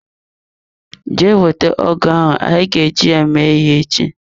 Jee wete ọgụ ahụ anyị ga e ji ya mee ihe ech!